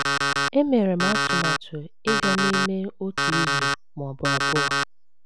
Emere m atụmatụ ịga n’ime otu izu ma ọ bụ abụọ.